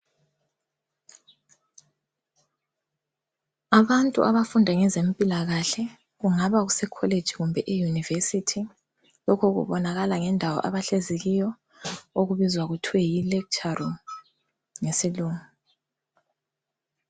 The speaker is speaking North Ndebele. Abantu abafunda ngezempilakahle kungaba kuse kholeji kumbe eyunivesithi lokhu kubonakala ngendawo abahlezi kiyo okubizwa kuthiwa yi(lecture room)ngesilungu.